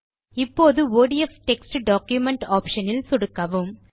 இப்போது ODF text document option இல் சொடுக்கவும்